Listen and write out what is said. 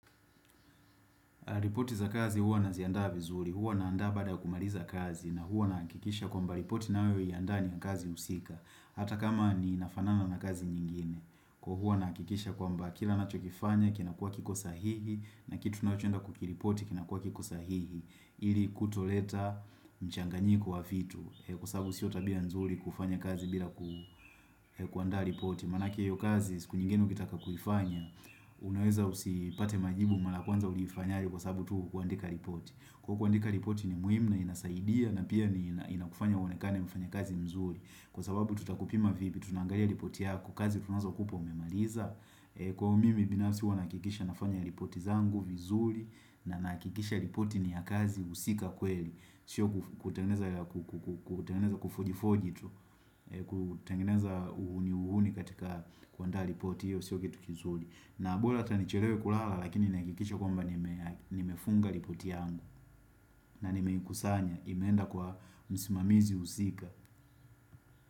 Ripoti za kazi huwa naziandaa vizuri, huwa naandaa baada kumaliza kazi na huwa nahakikisha kwamba ripoti nayo ni ya ndani ya kazi husika. Hata kama inafanana na kazi nyingine. Kwa hivyo, huwa nahakikisha kwamba kila ninachokifanya kinakuwa kiko sahihi na kitu tunachoenda kukiripoti kinakuwa kiko sahihi ili kutoleta mchanganyiko wa vitu, kwa sababu sio tabia nzuri kufanya kazi bila kuandaa ripoti maanake hiyo kazi siku nyingine ukitaka kuifanya Unaweza usipate majibu maraa kwanza uliifanya aje, kwa sababu tu hukuandika ripoti. Kwa hivyo, kuandika ripoti ni muhimu na inasaidia na pia inakufanya uonekane mfanya kazi mzuri, kwa sababu tutakupima vipi, tunaangalia ripoti yako kazi tunazo kupa umemaliza Kwa hivyo, mimi binafsi huwa nahakikisha nafanya ripoti zangu vizuri na ninahakikisha ripoti ni ya kazi husika kweli Sio kutengeneza kufojifoji tu, kutengeneza uhuni uhuni katika kuandaa ripoti hiyo Sio kitu kizuli. Na mbora hata nichelewe kulala Lakini nihakikishe kwamba nimefunga ripoti yangu na nimeikusanya imeenda kwa msimamizi husika.